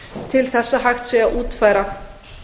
til þess að hægt sé að útfæra